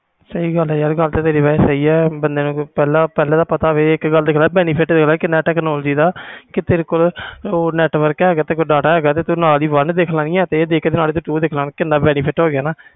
ਸਹੀ ਗੱਲ ਆ ਯਾਰ ਗੱਲ ਤਾ ਤੇਰੀ ਸਹੀ ਆ ਬੰਦੇ ਨੇ ਪਹਿਲੇ ਦਾ ਪਤਾ ਹੋਵੇ benefit ਕਿੰਨਾ ਆ technology ਦਾ ਤੇ ਤੇਰੇ ਕੋਲ network ਹੈਗਾ data ਹੈਗਾ ਨਾਲ ਹੀ one ਇਹ ਦੇਖ ਕੇ ਨਾਲ ਹੀ two ਦੇਖ ਲਈ ਆ